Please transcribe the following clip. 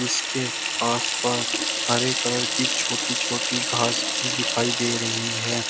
इसके आसपास हरे कलर की छोटी छोटी घास भी दिखाई दे रही है।